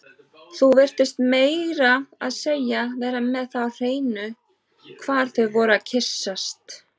Þú virtist meira að segja vera með það á hreinu hvar þau væru að kyssast